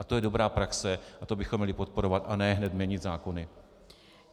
A to je dobrá praxe a to bychom měli podporovat a ne hned měnit zákony.